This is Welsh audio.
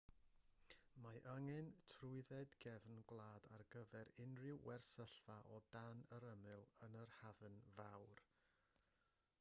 mae angen trwydded gefn gwlad ar gyfer unrhyw wersylla o dan yr ymyl yn yr hafn fawr